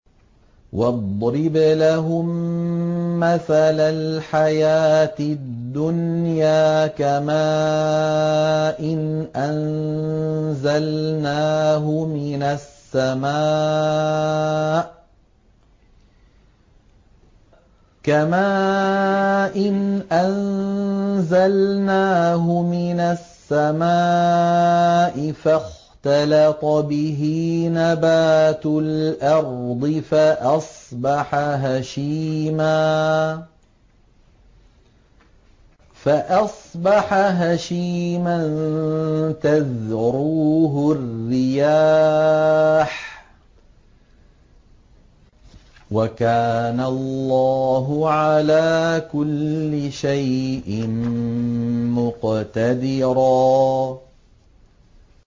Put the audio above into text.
وَاضْرِبْ لَهُم مَّثَلَ الْحَيَاةِ الدُّنْيَا كَمَاءٍ أَنزَلْنَاهُ مِنَ السَّمَاءِ فَاخْتَلَطَ بِهِ نَبَاتُ الْأَرْضِ فَأَصْبَحَ هَشِيمًا تَذْرُوهُ الرِّيَاحُ ۗ وَكَانَ اللَّهُ عَلَىٰ كُلِّ شَيْءٍ مُّقْتَدِرًا